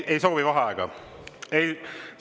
Ei soovi vaheaega?